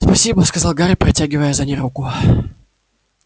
спасибо сказал гарри протягивая за ней руку